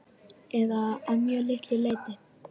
Eða að mjög litlu leyti.